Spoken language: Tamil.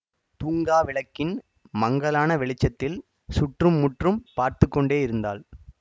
தூங்கா விளக்கின் மங்கலான வெளிச்சத்தில் சுற்று முற்றும் பார்த்து கொண்டேயிருந்தாள்